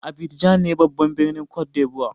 Abidjan ne babban birnin côte d'lvoire.